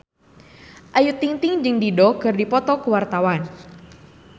Ayu Ting-ting jeung Dido keur dipoto ku wartawan